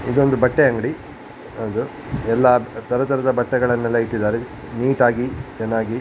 ಇದೊಂದು ಬಟ್ಟೆ ಅಂಗ್ಡಿ. ಹೌದು. ಎಲ್ಲ ತರ್ ತರದ ಬಟ್ಟೆಗಳನ್ನೆಲ್ಲ ಇಟ್ಟಿದ್ದ್ದಾರೆ ನೀಟಾಗಿ ಚೆನ್ನಾಗಿ --